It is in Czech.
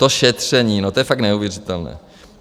To šetření, no, to je fakt neuvěřitelné.